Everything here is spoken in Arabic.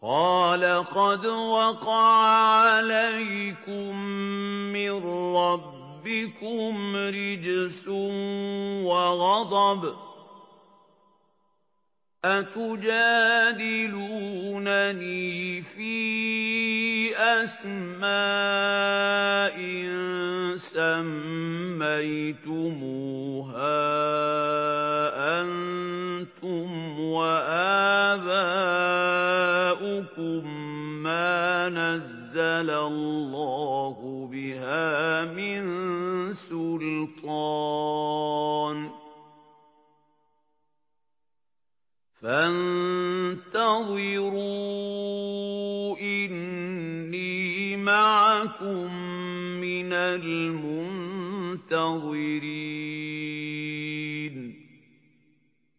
قَالَ قَدْ وَقَعَ عَلَيْكُم مِّن رَّبِّكُمْ رِجْسٌ وَغَضَبٌ ۖ أَتُجَادِلُونَنِي فِي أَسْمَاءٍ سَمَّيْتُمُوهَا أَنتُمْ وَآبَاؤُكُم مَّا نَزَّلَ اللَّهُ بِهَا مِن سُلْطَانٍ ۚ فَانتَظِرُوا إِنِّي مَعَكُم مِّنَ الْمُنتَظِرِينَ